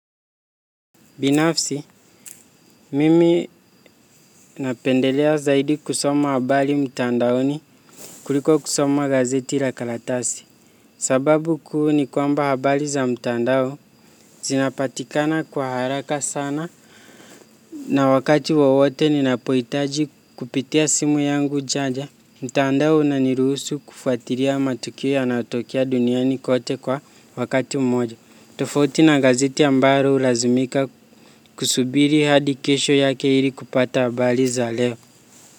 Binafsi, mimi napendelea zaidi kusoma habari mtandaoni kuliko kusoma gazeti la karatasi. Sababu kuu ni kwamba habari za mtandao, zinapatikana kwa haraka sana na wakati wowote ninapoitaji kupitia simu yangu chaja. Mtandao unaniruhusu kufuatilia matukia yanayo tokea duniani kote kwa wakati mmoja. Tofauti na gazeti ambalo hulazimika kusubiri hadi kesho yake ili kupata habari za leo.